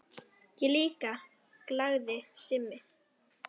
Ég líka galaði Simmi.